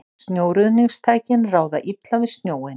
Snjóruðningstækin ráða illa við snjóinn